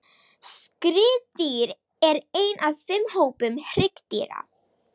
Skriðdýr er einn af fimm hópum hryggdýra.